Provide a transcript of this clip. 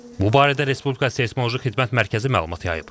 Bu barədə Respublika Seysmoloji Xidmət Mərkəzi məlumat yayıb.